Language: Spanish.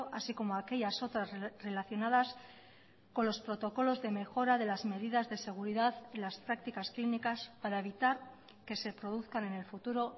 así como aquellas otras relacionadas con los protocolos de mejora de las medidas de seguridad y las prácticas clínicas para evitar que se produzcan en el futuro